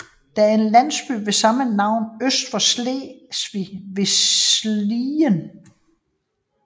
Der er en landsby ved samme navn øst for Slesvig ved Slien